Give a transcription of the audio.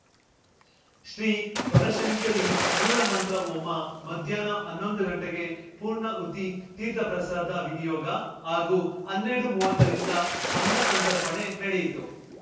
ಶ್ರೀ ಬನಶಂಕರಿ ಮೂಲಮಂತ್ರ ಹೋಮ ಮಧ್ಯಾಹ್ನ ಹನ್ನೊಂದು ಗಂಟೆಗೆ ಪೂರ್ಣಾಹುತಿ ತೀರ್ಥಪ್ರಸಾದ ವಿನಿಯೋಗ ಹಾಗೂ ಹನ್ನೆರಡುಮುವತ್ತ ರಿಂದ ಅನ್ನ ಸಂತರ್ಪಣೆ ನಡೆಯಿತು